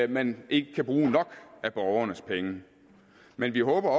man ikke kan bruge nok af borgernes penge men vi håber